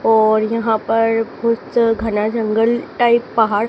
और यहां पर कुछ घना जंगल टाइप पहाड़--